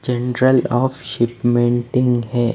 General of shipmenting है।